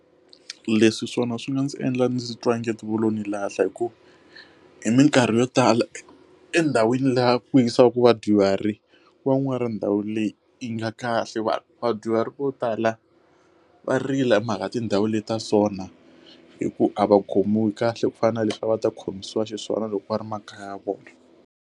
Leswi swona swi nga ndzi endla ndzi twa u nge ti vo lo ni lahla hikuva hi minkarhi yo tala endhawini laha ku hisaka vadyuhari wa n'wa ra ndhawu leyi yi nga ya kahle va vadyuhari vo tala va rila hi mhaka tindhawu leti ta sona hi ku a va khomiwi kahle ku fana na leswi a va ta khomisiwa xiswona loko va ri makaya ya vona.